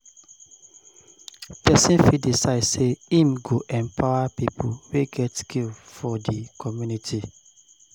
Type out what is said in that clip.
Persin fit decide say im go empower pipo wey get skill for di community